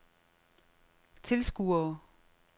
tilskuere